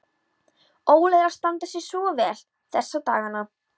Óli er að standa sig svo vel þessa dagana.